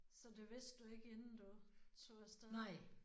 Så det vidste du ikke inden du tog afsted?